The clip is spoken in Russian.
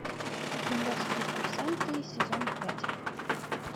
кремлевские курсанты сезон пять